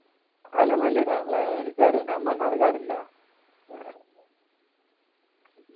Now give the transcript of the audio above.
എലനല്ലൂര് ആണ് അല്ലെ എനിക്കറിയാ ഞാൻ മണ്ണാർക്കാട് ഇല്ല ആഹ്